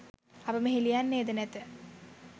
අප මෙහි ලියන්නේද නැත.